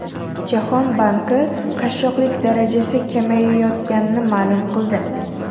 Jahon banki qashshoqlik darajasi kamayayotganini ma’lum qildi.